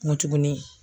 Nko tuguni